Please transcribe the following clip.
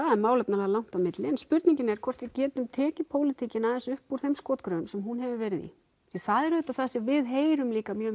það er málefnalega langt á milli en spurningin er hvort við getum tekið pólitíkina aðeins upp úr þeim skotgröfum sem hún hefur verið í því það er auðvitað það sem við heyrum líka mjög